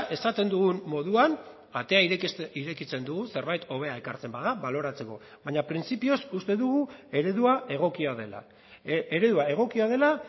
esaten dugun moduan atea irekitzen dugu zerbait hobea ekartzen bada baloratzeko baina printzipioz uste dugu eredua egokia dela eredua egokia dela